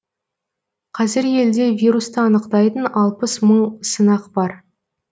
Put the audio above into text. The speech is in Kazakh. қазір елде вирусты анықтайтын алпыс мың сынақ бар